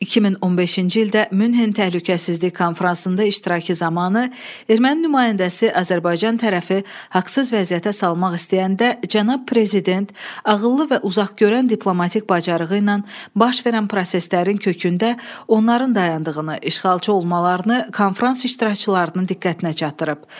2015-ci ildə Münhen Təhlükəsizlik Konfransında iştirakı zamanı erməni nümayəndəsi Azərbaycan tərəfi haqsız vəziyyətə salmaq istəyəndə cənab prezident ağıllı və uzaqgörən diplomatik bacarığı ilə baş verən proseslərin kökündə onların dayandığını, işğalçı olmalarını konfrans iştirakçılarının diqqətinə çatdırıb.